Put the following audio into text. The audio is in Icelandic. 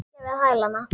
Liggja við hælana.